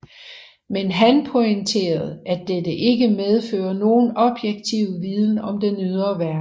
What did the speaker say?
Men han pointerede at dette ikke medfører nogen objektiv viden om den ydre verden